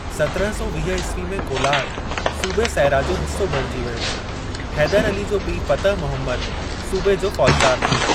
सतरहं सौ वीह ईस्वी में कोलार सूबे सैरा जो हि‍स्सो बणिजी वियो। हैदर अली जो पीउ फ़तह मुहमद सूबे जो फ़ौजदार हो।